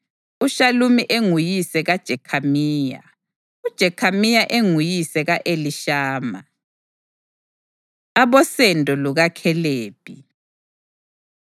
uShalumi enguyise kaJekhamiya, uJekhamiya enguyise ka-Elishama. Abosendo LukaKhalebi